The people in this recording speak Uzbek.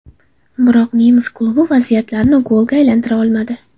Biroq nemis klubi vaziyatlarini golga aylantira olmadi.